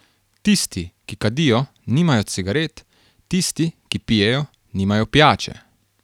Tisti, ki kadijo, nimajo cigaret, tisti, ki pijejo, nimajo pijače.